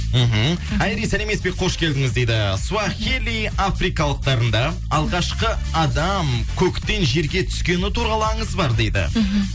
мхм айри сәлеметсіз бе қош келдіңіз дейді суахили африкалықтарында алғашқы адам көктен жерге түскені туралы аңыз бар дейді мхм